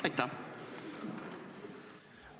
Aitäh!